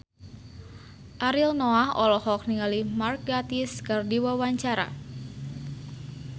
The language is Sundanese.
Ariel Noah olohok ningali Mark Gatiss keur diwawancara